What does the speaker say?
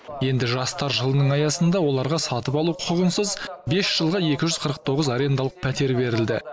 енді жастар жылының аясында оларға сатып алу құқығынсыз бес жылға екі жүз қырық тоғыз арендалық пәтер берілді